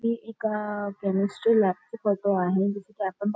हे एका केमिस्टरी लॅबचे फोटो आहे जस की आपण--